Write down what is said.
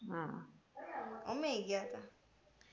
હા અમે એ ગયા ત્યાં